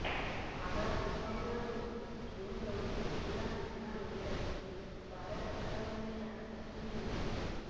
కాగా రుతుపవనాలను జూన్లోనే పూర్తిగా అంచనా వేయగలమని భారత వాతావరణ శాఖ స్పష్టం చేసింది